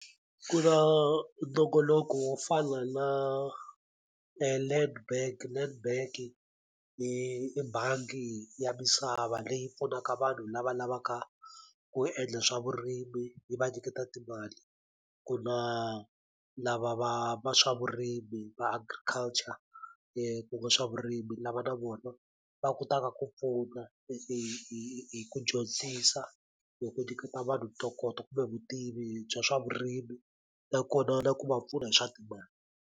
Ku na nongonoko wo fana na Nedbank, Netbank i i bangi ya misava leyi pfunaka vanhu lava lavaka ku endla swa vurimi yi va nyiketa timali, ku na lava va va swa vurimi va agriculture ku va swa vurimi lava na vona va kotaka ku pfuna hi hi ku dyondzisa hi ku niketa vanhu ntokoto kumbe vutivi bya swa vurimi nakona na ku va pfuna hi swa timali.